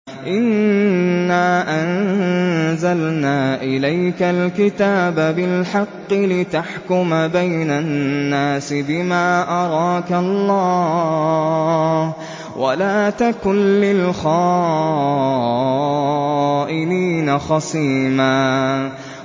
إِنَّا أَنزَلْنَا إِلَيْكَ الْكِتَابَ بِالْحَقِّ لِتَحْكُمَ بَيْنَ النَّاسِ بِمَا أَرَاكَ اللَّهُ ۚ وَلَا تَكُن لِّلْخَائِنِينَ خَصِيمًا